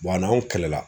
a n'anw kɛlɛla